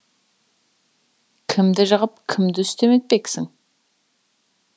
кімді жығып кімді үстем етпексің